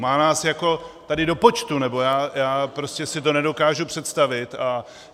Má nás jako tady do počtu, nebo já prostě si to nedokážu představit.